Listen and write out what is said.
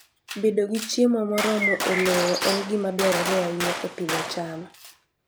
Bedo gi chiemo moromo e lowo en gima dwarore ahinya e pidho cham.